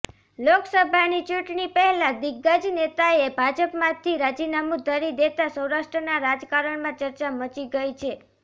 લોકસભાની ચૂંટણી પહેલા દિગ્ગજ નેતાએ ભાજપમાંથી રાજીનામુ ધરી દેતા સૌરાષ્ટ્રના રાજકારણમાં ચર્ચા મચી ગઇ છે